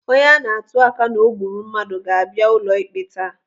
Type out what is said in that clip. Onye ana-atuaka na o gburu mmadụ ga-abịa ụlọikpe taa.